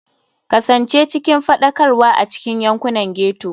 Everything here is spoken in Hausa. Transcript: Kasance cikin faɗakarwa a cikin yankunan ghetto.